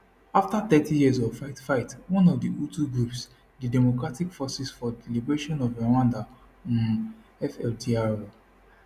afta thirty years of fightfight one of di hutu groups di democratic forces for di liberation of rwanda um fdlr